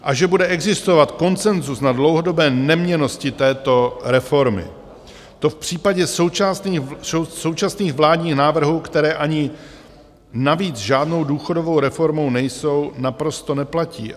A že bude existovat konsenzus na dlouhodobé neměnnosti této reformy, to v případě současných vládních návrhů, které ani navíc žádnou důchodovou reformou nejsou, naprosto neplatí.